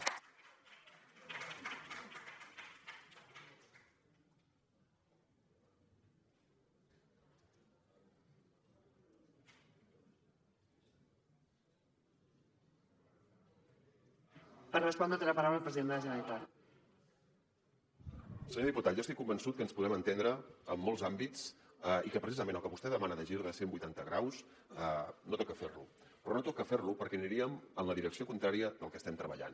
senyor diputat jo estic convençut que ens podem entendre en molts àmbits i que precisament el que vostè demana de gir de cent vuitanta graus no toca fer lo però no toca fer lo perquè aniríem en la direcció contrària del que estem treballant